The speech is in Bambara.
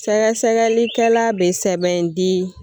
Sɛgɛsɛgɛlikɛla bɛ sɛbɛn di